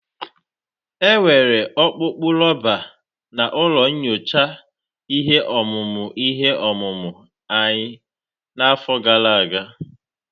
Enwere ọkpụkpụ rọba na ụlọ nyocha ihe ọmụmụ ihe ọmụmụ anyị n'afọ gara aga.